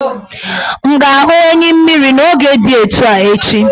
M ga-ahụ enyimmiri n' moge di etu a echi?